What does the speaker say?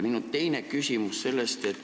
Minu teine küsimus on niisugune.